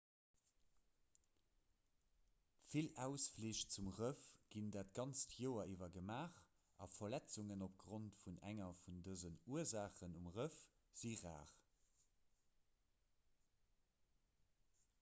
vill ausflich zum rëff ginn dat ganzt joer iwwer gemaach a verletzungen opgrond vun enger vun dësen ursaachen um rëff si rar